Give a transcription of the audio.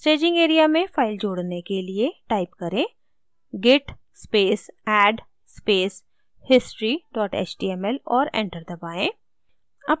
staging area में file जोड़ने के लिए type करें: git space add space history html और enter दबाएँ